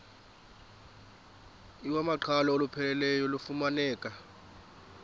iwamaqhalo olupheleleyo lufumaneka